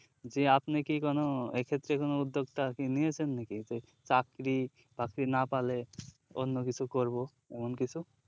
জি আপনি কি কোনো এক্ষেত্রে কোনো উদ্যোক্তা আরকি নিয়েছেন নাকি যে চাকরি বাকরি না পালে অন্যকিছু করবো এমন কিছু